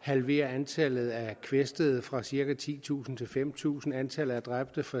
halveret antallet af kvæstede fra cirka titusind til fem tusind og antallet af dræbte fra